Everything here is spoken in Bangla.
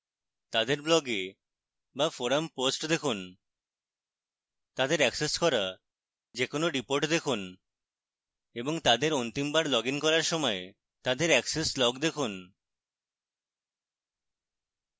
তাদের blog was forum posts দেখুন তাদের অ্যাক্সেস করা যে কোনো reports দেখুন এবং তাদের অন্তিমবার লগইন করার সময় তাদের অ্যাক্সেস logs দেখুন